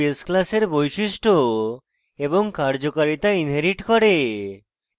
এটি base class বৈশিষ্ট্য এবং কার্যকারিতা inherits করে